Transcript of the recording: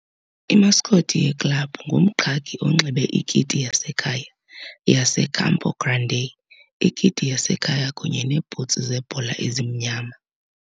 Imascot yeklabhu ngumqhagi onxibe ikiti yasekhaya yaseCampo Grande ikiti yasekhaya kunye neebhutsi zebhola ezimnyama.